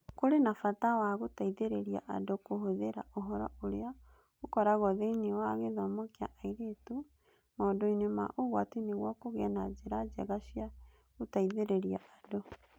Kũrĩ na bata wa gũteithĩrĩria andũ kũhũthĩra ũhoro ũrĩa ũkoragwo thĩinĩ wa gĩthomo kĩa airĩtu maũndũ-inĩ ma ũgwati nĩguo kũgĩe na njĩra njega cia gũteithĩrĩria andũ.